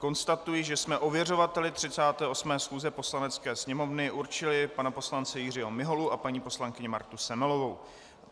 Konstatuji, že jsme ověřovateli 38. schůze Poslanecké sněmovny určili pana poslance Jiřího Miholu a paní poslankyni Martu Semelovou.